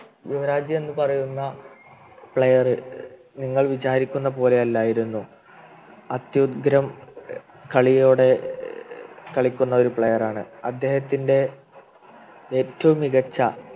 യുവരാജ് എന്ന് പറയുന്ന Player നിങ്ങൾ വിചാരിക്കുന്ന പോലെ ഇല്ലായിരുന്നു അത്യുഗ്രൻ ഏർ കളിയോടെ ഏർ കളിക്കുന്ന ഒരു Player ആണ് അദ്ദേഹത്തിൻ്റെ ഏറ്റവും മികച്ച